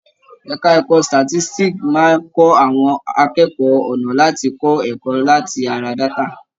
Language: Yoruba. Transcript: Ẹka ẹ̀kọ́ statistics máa ń kọ́ àwọn akẹ́kọ̀ọ́ ọ̀nà láti kọ́ ẹ̀kọ́ láti ara data.